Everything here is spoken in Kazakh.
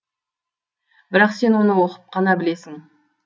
бірақ сен оны оқып қана білесің